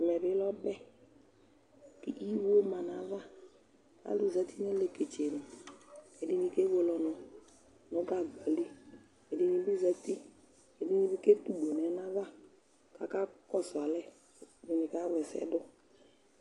Ɛmɛ bɩ lɛ ɔbɛ kʋ iwo ma nʋ ayava Alʋ zati nʋ aleketsenu kʋ ɛdɩnɩ kewele ɔnʋ nʋ gagba li Ɛdɩnɩ bɩ zati Ɛdɩnɩ bɩ ketugbo nʋ ɛna ava kʋ akakɔsʋ alɛ, ɛdɩnɩ kawla ɛsɛ dʋ